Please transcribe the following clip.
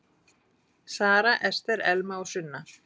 Sara, Ester, Elma og Sunna.